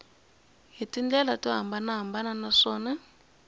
hi tindlela to hambanahambana naswona